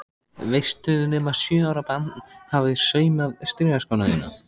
Veistu nema sjö ára barn hafi saumað strigaskóna þína?